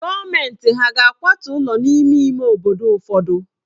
Gọọmenti hà ga-akwatu ụlọ n'ime ime obodo ụfọdụ?